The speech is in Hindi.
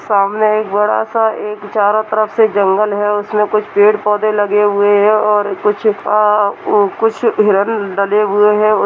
सामने एक बड़ा-सा एक चारों तरफ से जंगल है उसमें कुछ पेड़-पौधे लगे हुए हैं और कुछ अ-अ-ओ कुछ हिरन डले हुए हैं।